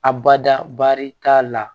Abada bari t'a la